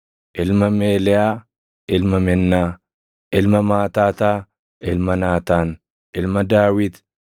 ilma Meeleyaa, ilma Mennaa, ilma Maataataa, ilma Naataan, ilma Daawit,